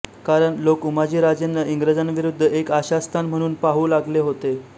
कारण लोक उमाजीराजेंना इंग्रजांविरुद्ध एक आशास्थान म्हणून पाहू लागले होते